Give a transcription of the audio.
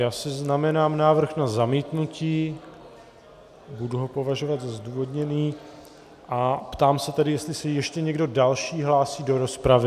Já si znamenám návrh na zamítnutí, budu ho považovat za zdůvodněný, a ptám se tedy, jestli se ještě někdo další hlásí do rozpravy.